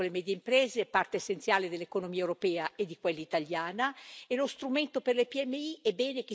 E lo strumento per le PMI è bene che sia contenuto in Orizzonte Europa anche per il futuro, perché ha dato buoni risultati.